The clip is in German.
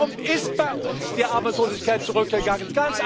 Warum ist bei uns die Arbeitslosigkeit zurückgegangen?